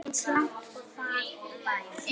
Eins langt og það nær.